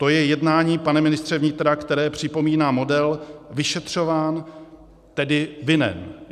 To je jednání, pane ministře vnitra, které připomíná model vyšetřování, tedy vinen.